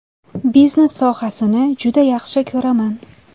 Biznes sohasini juda yaxshi ko‘raman.